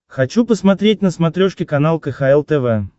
хочу посмотреть на смотрешке канал кхл тв